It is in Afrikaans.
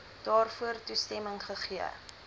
daarvoor toestemming gegee